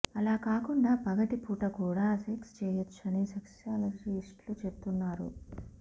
అలా కాకుండా పగటి పూట కూడా సెక్స్ చేయొచ్చని సెక్సాలజిస్టులు చెబుతున్నారు